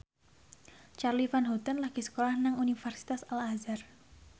Charly Van Houten lagi sekolah nang Universitas Al Azhar